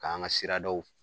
K'an ka sira dɔw